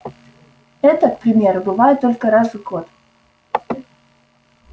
эта к примеру бывает только раз в год